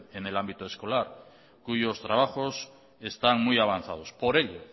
en el ámbito escolar cuyos trabajos están muy avanzados por ello